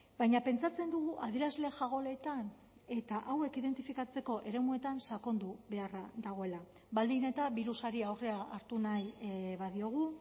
baina pentsatzen dugu adierazle jagoletan eta hauek identifikatzeko eremuetan sakondu beharra dagoela baldin eta birusari aurrea hartu nahi badiogu